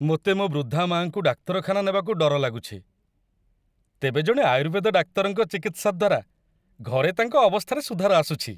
ମୋତେ ମୋ ବୃଦ୍ଧା ମାଆଙ୍କୁ ଡାକ୍ତରଖାନା ନେବାକୁ ଡର ଲାଗୁଛି, ତେବେ ଜଣେ ଆୟୁର୍ବେଦ ଡାକ୍ତରଙ୍କ ଚିକିତ୍ସା ଦ୍ୱାରା ଘରେ ତାଙ୍କ ଅବସ୍ଥାରେ ସୁଧାର ଆସୁଛି।